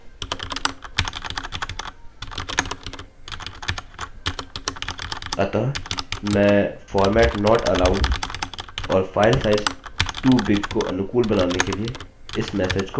अतः मैं format not allowed or file size too big को अनुकूल बनाने के लिए इस मेसेज को बदलूँगा